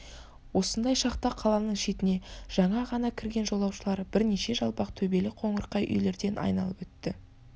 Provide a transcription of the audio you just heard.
осындай шақта қаланың шетіне жаңа ғана кірген жолаушылар бірнеше жалпақ төбелі қоңырқай үйлерден айналып өтті